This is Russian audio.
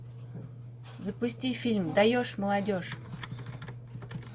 запусти фильм даешь молодежь